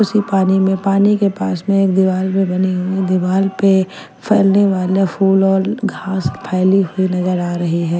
उसी पानी में पानी के पास में एक दीवाल भी बनी हुई दीवाल पे फलने वाला फूल और घास फैली हुई नजर आ रही है।